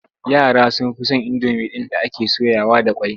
Yara sun fi son indomi ɗin da ake soyawa da ƙwai.